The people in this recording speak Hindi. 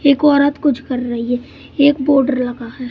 एक औरत कुछ कर रही है एक बोर्ड लगा है।